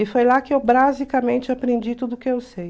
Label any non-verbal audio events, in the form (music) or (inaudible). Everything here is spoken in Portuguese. E foi lá que eu (unintelligible) aprendi tudo o que eu sei.